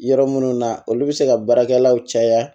Yɔrɔ minnu na olu bɛ se ka baarakɛlaw caya